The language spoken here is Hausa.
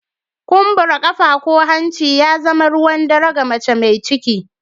Kumbura ƙafa ko hanci ya zama ruwan dare ga mace mai ciki.